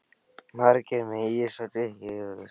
Margir með ís og gosdrykki.